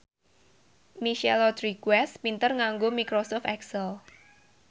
Michelle Rodriguez pinter nganggo microsoft excel